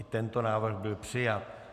I tento návrh byl přijat.